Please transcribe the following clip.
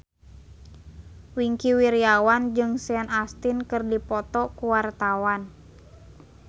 Wingky Wiryawan jeung Sean Astin keur dipoto ku wartawan